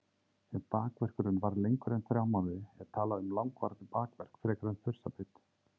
Ef bakverkurinn varir lengur en þrjá mánuði er talað um langvarandi bakverk frekar en þursabit.